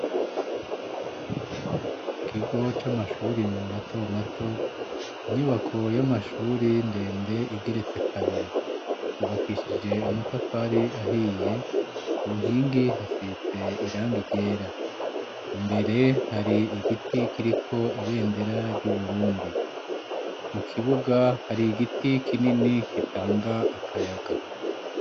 ikigo c'amashuri mato mato inyubako y'amashuri ndende igeretse kabiri yubakishije amatafari ahiye ku nkingi hasize irangi ryera imbere hari igiti kiriko ibendera ry'uburundi mu kibuga hari igiti kinini gitanga akayaga